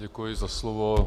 Děkuji za slovo.